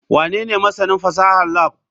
Wanene masanin fasahar lab?